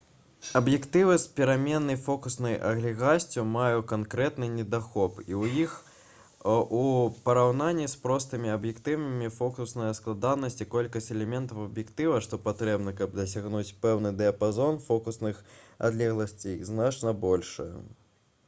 аб'ектывы з пераменнай фокуснай адлегласцю маюць канкрэтны недахоп у іх у параўнанні з простымі аб'ектывамі фокусная складанасць і колькасць элементаў аб'ектыва што патрэбны каб дасягнуць пэўны дыяпазон фокусных адлегласцей значна большая